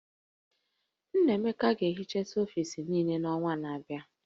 Nnaemeka ga-ehichasị ọfis niile n'ọnwa na-abịa